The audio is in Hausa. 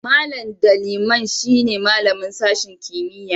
Mallam Ndaliman shine malamin sashen kimiyya'n.